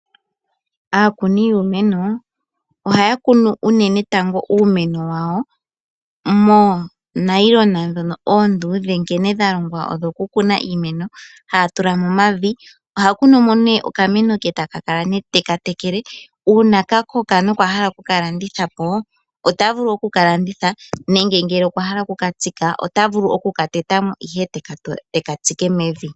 Aakuni yuumeno ohaya kunu unene tango uumeno wawo moonailona oonduudhe nkene dhalongwa odhokukuna iimeno, haa tula mo omavi. Ohaa kunu mo nee okameno ke, e ta kala nee teka tekele. Uuna kakoko ndele okwa hala okukalanditha po, otavulu okukalanditha po nenge ngele okwa hala okukatsika, ota vulu okuka teta mo ihe eteka tsike mevi.